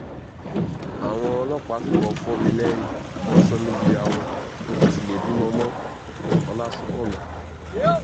àwọn ọlọ́pàá fìbọn fò mí lẹ́yìn wọ́n sọ mí di aró ń kò sì lè bímọ mọ́- ọlásùnkànmí